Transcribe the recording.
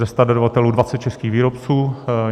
Ze 100 dodavatelů 20 českých výrobců.